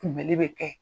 Kunbɛli bɛ kɛ